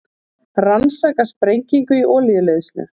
Rannsaka sprengingu í olíuleiðslu